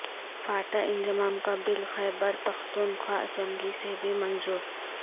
FATA انضمام کا بل Khyber Pakhtunkhwa assembly سے بھی منظور